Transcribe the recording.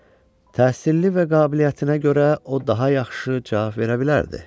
Təhsilli və qabiliyyətinə görə o daha yaxşı cavab verə bilərdi.